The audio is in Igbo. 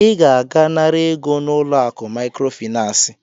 I ga-aga nara ego n'ulo akụ Maịkrofịnansị.